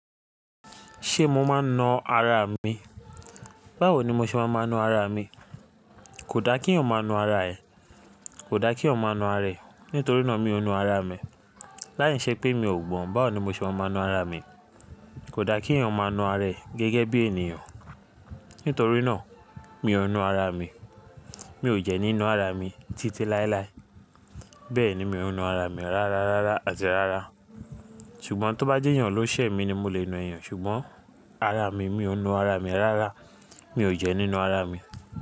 Ṣé mo máa ń na ara mi? Báwo ni mo ṣe máa ma na ara mi? Kò dá kí èèyàn máa na ara ẹ̀. Kò dá kí èèyàn máa na ara rẹ̀. Nítorí náà mi ò na ara mi. Láì ṣe pé mi ò gbọ́n, báwo ni mo ṣe máa ma na ara mi? Kò dá kí èèyàn máa na ara rẹ̀ gẹ́gẹ́ bí ènìyàn. Nítorí náà mi ò n na ara mi. Mi ò jẹ ní na ara mi títí láéláé. Bẹ́ẹ̀ni mi ò n na ara mi rárárárá àti rárá. Ṣùgbọ́n tó bá jẹ́ èèyàn ló ṣẹ̀ mi ni mo lè na èèyàn, ṣùgbọ́n ara mi, mi ò n na ara mi rárá. Mi ò jẹ́ nínú ara mi.